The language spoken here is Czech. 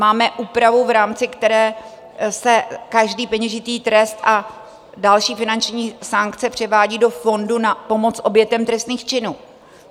Máme úpravu, v rámci které se každý peněžitý trest a další finanční sankce převádějí do fondu na pomoc obětem trestných činů.